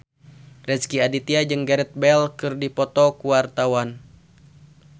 Rezky Aditya jeung Gareth Bale keur dipoto ku wartawan